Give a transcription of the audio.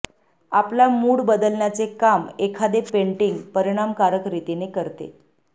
आपला मूड बदलण्याचे काम एखादे पेंटिंग परिणामकारक रीतीने करते